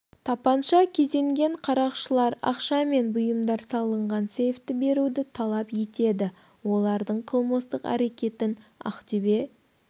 тапанша кезенген қарақшылар ақша мен бұйымдар салынған сейфті беруді талап етеді олардың қылмыстық әрекетін ақтөбе